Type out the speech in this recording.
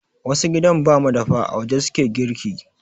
Wasu gidan ba madafa, a waje su ke girki.